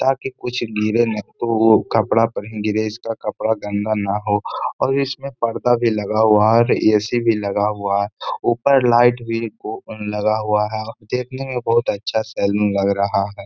ताकि कुछ गिरे न तो कपड़ा पर ही गिरे इसका कपड़ा गन्दा ना हो और इसमें पर्दा भी लगा हुआ है और ऐ.सी. भी लगा हुआ है। ऊपर लाइट भी को लगा हुआ है। देखने में बहोत अच्छा सैलून लग रहा है।